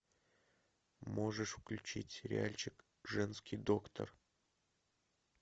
можешь включить сериальчик женский доктор